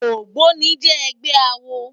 Ógbóni jè ègbè àwó